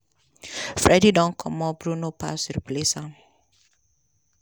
fredy don comot bruno paz replace am.